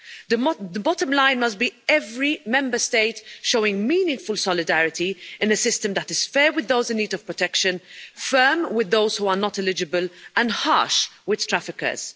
The bottom line must be every Member State showing meaningful solidarity in a system that is fair with those in need of protection, firm with those who are not eligible and harsh with traffickers.